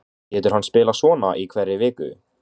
Getur hann spilað svona í hverri viku?